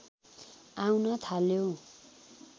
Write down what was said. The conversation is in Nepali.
आउन थाल्यो